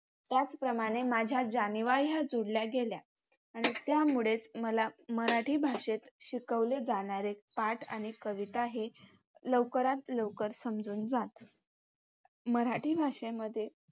त्याचप्रमाणे माझ्या जाणिवा ह्या जोडल्या गेल्या. आणि त्यामुळेच मला मराठी भाषेत शिकवले जाणारे पाठ आणि कविता हे लवकरात लवकर समजून जात. मराठी भाषेमध्ये